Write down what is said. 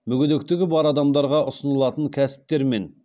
мүгедектігі бар адамдарға ұсынылатын кәсіптер мен